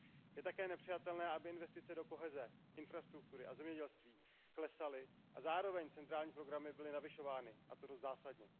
Je také nepřijatelné, aby investice do koheze, infrastruktury a zemědělství klesaly a zároveň centrální programy byly navyšovány, a to dost zásadně.